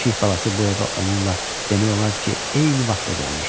Pişik balası bu evə onunla demək olar ki, eyni vaxtda gəlmişdi.